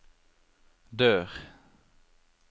dør